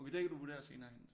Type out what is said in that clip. Okay det kan du vurdere senere hen